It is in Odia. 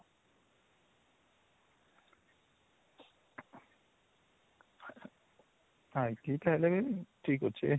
ହଁ ଏତିକି ଠିକ ଅଛେ